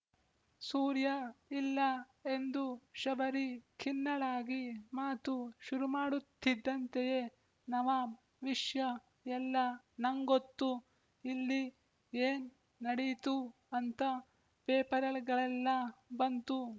ಸೂರ್ಯ ಇಲ್ಲ ಎಂದು ಶಬರಿ ಖಿನ್ನಳಾಗಿ ಮಾತು ಶುರುಮಾಡುತ್ತಿದ್ದಂತೆಯೇ ನವಾಬ್ ವಿಷ್ಯ ಎಲ್ಲ ನಂಗೊತ್ತು ಇಲ್ಲಿ ಏನ್ ನಡೀತು ಅಂತ ಪೇಪರ್‍ಗಳಲ್ಲೆ ಬಂತು